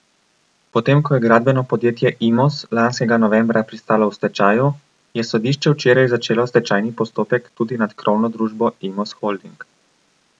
Potem ko je gradbeno podjetje Imos lanskega novembra pristalo v stečaju, je sodišče včeraj začelo stečajni postopek tudi nad krovno družbo Imos Holding.